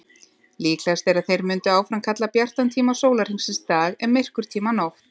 Líklegast er að þeir mundu áfram kalla bjartan tíma sólarhringsins dag en myrkurtímann nótt.